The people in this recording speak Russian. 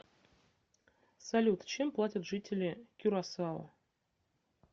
салют чем платят жители кюрасао